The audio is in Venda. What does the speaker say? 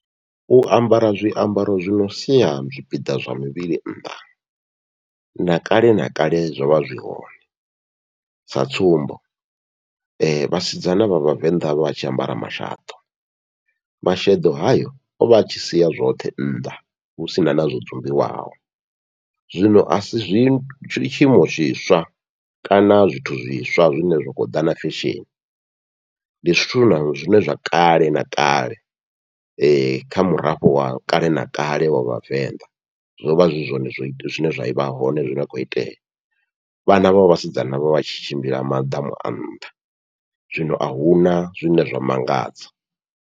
U ambara zwiambaro zwi no sia zwipiḓa zwa muvhili nnḓa na kale na kale zwovha zwi hone sa tsumbo, vhasidzana vha vhavenḓa vha tshi ambara mashaḓo masheḓo hayo ovha a tshi siya zwoṱhe nnḓa hu sina na zwo dzumbiwaho, zwino asi zwi tshiimo zwiswa kana zwithu zwiswa zwine zwa khou ḓa na fesheni, ndi zwithu na zwine zwa kale na kale kha murafho wa kale na kale wa vhavenḓa zwovha zwi zwone zwine zwa vha hone zwine khou itea, vhana vha vhasidzana vho vha vhatshi tshimbila maḓamu a nnḓa, zwino ahuna zwine zwa mangadza.